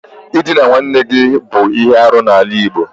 Ịdịna nwanne gị bụ ihe arụ n'ala igbo.